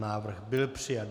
Návrh byl přijat.